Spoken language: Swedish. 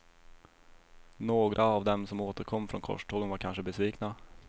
Några av dem som återkom från korstågen var kanske besvikna.